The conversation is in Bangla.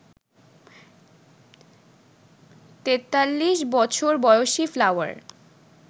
৪৩ বছর বয়সী ফ্লাওয়ার